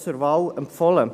Also: zur Wahl empfohlen.